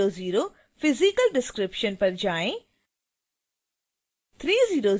अब 300 physical description पर जाएँ